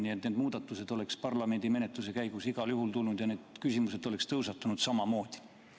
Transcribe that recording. Nii et need muudatused oleks parlamendimenetluse käigus igal juhul tulnud ja need küsimused oleks tõusetunud samamoodi.